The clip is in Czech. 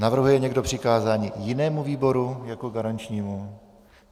Navrhuje někdo přikázání jinému výboru jako garančnímu?